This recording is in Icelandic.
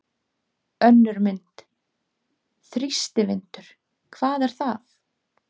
Önnur mynd: Þrýstivindur- hvað er það?